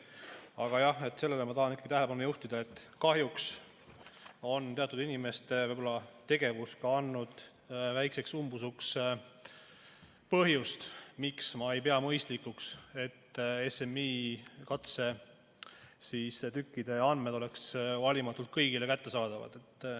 Aga jah, sellele ma tahan ikkagi tähelepanu juhtida, et kahjuks on teatud inimeste tegevus andnud väikseks umbusuks põhjust, miks ma ei pea mõistlikuks, et SMI katsetükkide andmed oleksid valimatult kõigile kättesaadavad.